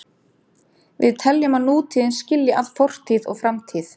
Við teljum að nútíðin skilji að fortíð og framtíð.